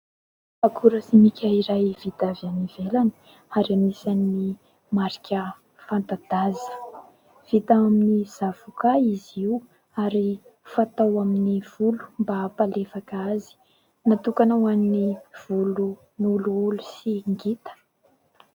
Akora simika iray vita avy ivelany ary anisan'ny marika fanta-daza. Vita amin'ny zavoka izy io ary fatao amin'ny volo mba am-palefaka azy. Natokana ho an'ny volo holoholo sy ngita.